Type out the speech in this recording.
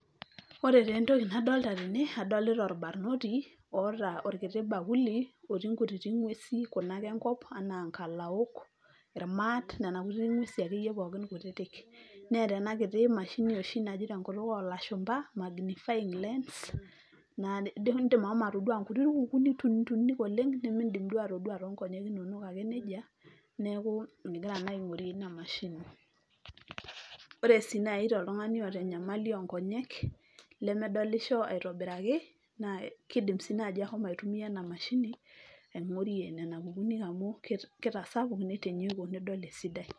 Ore taa entoki nadolita tene, adolita orbarnoti oota orkiti bakuli otii nkutitik ng'uesi kuna ake enkop naa nkalaok, irmaat nena kuti ng'uesi ake yie pookin kutitik. Neeta ena kiti mashini oshi naji te nkutuk oolashumba magnifying lens naa indim ashomo atodua nkuti kukuuni tuninik oleng' nemiindim duo atodua too nkonyek inonok ake neja, neeku egira naa aing'orie ina mashini. Ore sii nai toltung'ani oata enyamali o nkonyek lemedolisho aitobiraki, naa kiidim sii naji ashomo aitumia ena mashini aing'orie nena kukuuni amu kitasapuk, nitinyiku nidol esidai.